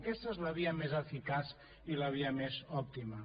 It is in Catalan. aquesta és la via més eficaç i la via més òptima